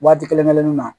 Waati kelen kelennu na